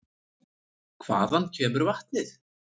Hvaðan kemur vatnið?